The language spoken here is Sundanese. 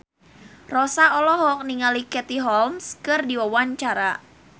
Rossa olohok ningali Katie Holmes keur diwawancara